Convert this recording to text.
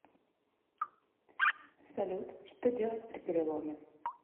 салют что делать при переломе